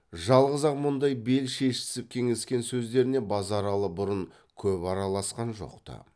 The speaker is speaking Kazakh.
жалғыз ақ мұндай бел шешісіп кеңескен сөздеріне базаралы бұрын көп араласқан жоқта